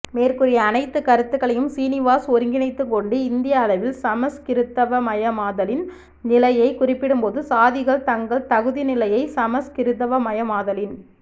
மேற்கூறிய அனைத்துக் கருத்துக்களையும் சீனுவாஸ் ஒருங்கிணைத்துக் கொண்டு இந்திய அளவில் சமஸ்கிருதவயமாதலின் நிலையைக் குறிப்பிடும்போது சாதிகள் தங்கள் தகுதிநிலையச் சமஸ்கிருதவயமாதலின்